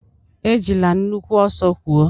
Ejila nnukwu ọsọ kwọọ!